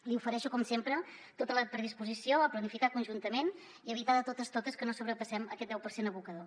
li ofereixo com sempre tota la predisposició a planificar conjuntament i evitar de totes totes que no sobrepassem aquest deu per cent abocador